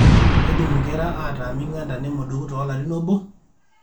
keidim inkera ataa ming'anta nemodoku toolarin obo>